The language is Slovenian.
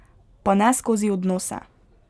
Pa ne skozi odnose.